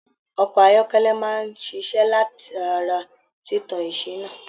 Ọkọ ayọkẹlẹ máa ṣiṣẹ lati ará títàn ìṣìnà.